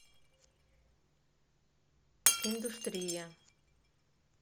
индустрия